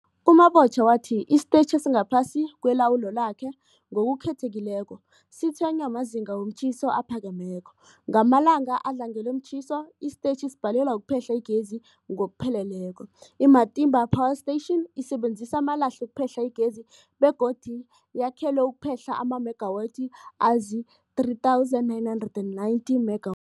U-Mabotja wathi isitetjhi esingaphasi kwelawulo lakhe, ngokukhethekileko, sitshwenywa mazinga womtjhiso aphakemeko. Ngamalanga adlangelwe mtjhiso, isitetjhi sibhalelwa kuphehla igezi ngokupheleleko. I-Matimba Power Station isebenzisa amalahle ukuphehla igezi begodu yakhelwe ukuphehla amamegawathi azii-3990 mega